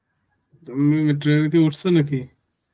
তুমি metro rail কি উঠছে নাকি?